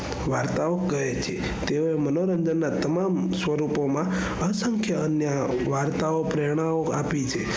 વાર્તાઓ કહે છે તે મનોરંજન ના તમામ સ્વરૂપોમાં અસંખ્ય અન્ય વાર્તાઓ પ્રેરણાઓ આપીછે.